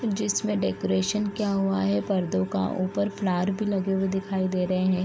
जिसमे डेकोरेशन किया हुआ है पर्दो का ऊपर फ्लावर भी लगे हुए दिखाई दे रहे है।